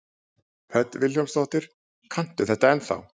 Hödd Vilhjálmsdóttir: Kanntu þetta ennþá?